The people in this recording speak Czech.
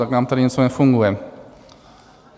Tak nám tady něco nefunguje.